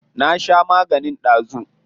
Na sha maganin dazu.